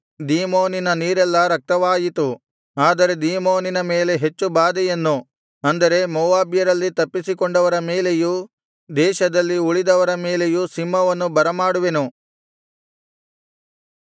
ದೀಮೋನಿನ ನೀರೆಲ್ಲಾ ರಕ್ತವಾಯಿತು ಆದರೆ ದೀಮೋನಿನ ಮೇಲೆ ಹೆಚ್ಚು ಬಾಧೆಯನ್ನು ಅಂದರೆ ಮೋವಾಬ್ಯರಲ್ಲಿ ತಪ್ಪಿಸಿಕೊಂಡವರ ಮೇಲೆಯೂ ದೇಶದಲ್ಲಿ ಉಳಿದವರ ಮೇಲೆಯೂ ಸಿಂಹವನ್ನು ಬರಮಾಡುವೆನು